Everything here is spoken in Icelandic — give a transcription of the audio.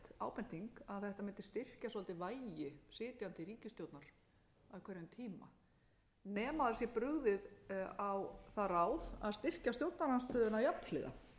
ábending að þetta mundi styrkja svolítið vægi sitjandi ríkisstjórnar á hverjum tíma nema það sé brugðið á það ráð að styrkja stjórnarandstöðuna jafnhliða